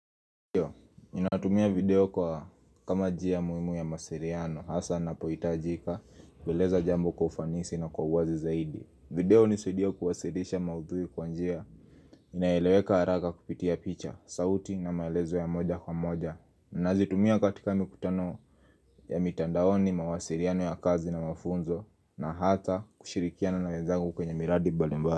Ndio, ninatumia video kwa kama njia muhimu ya mawasiliano, hasa ninapohitajika, kueleza jambo kwa ufanisi na kwa uwazi zaidi. Video hunisaidia kuwasilisha maudhui kwa njia, inaeleweka haraka kupitia picha, sauti na maelezo ya moja kwa moja. Nazitumia katika mikutano ya mitandaoni, mawasiliano ya kazi na mafunzo, na hata kushirikiana na wenzangu kwenye miradi mbalimbali.